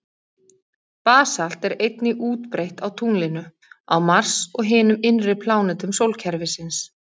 Basalt er einnig útbreitt á tunglinu, á Mars og hinum innri plánetum sólkerfisins.